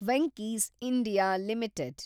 Venky's (India) limited